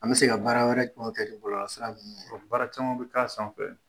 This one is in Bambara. An bɛ se ka baara wɛrɛ kɛ bɔlɔlɔsira ninnu baara caman bɛ k'a sanfɛ.